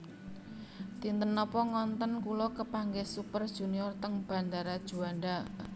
Dinten nopo ngonten kula kepanggih Super Junior teng bandara Juanda